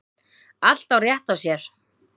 Allt á rétt á sér.